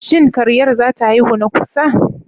Shin karyar zata haihu na kusa?